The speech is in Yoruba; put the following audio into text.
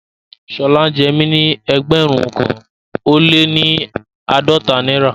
Shola jẹ́ mí ní ẹgbérùn kan o le ni aádọ́tà Naira